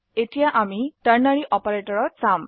এতিয়া আমাৰ ternary operator চাওক